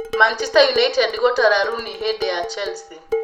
Manchester United gũtara Rooney hĩndĩ ya Chelsea